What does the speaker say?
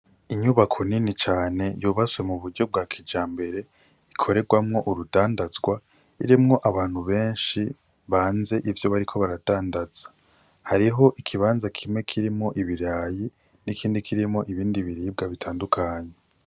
Inyubako nini cane yubatswe mu buryo bwa kijambere ikorerwamwo ubudandaza irimwo abantu beshi banze ivyo bariko baradandaza hariho ikibanza kimwe kirimwo ibirayi n'ikindi kirimwo ibindi biribwa bitandukanye.